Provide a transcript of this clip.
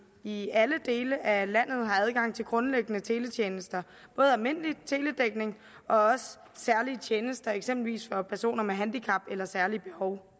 i alle dele af landet har adgang til grundlæggende teletjenester både almindelig teledækning og særlige tjenester eksempelvis for personer med handicap eller særlige behov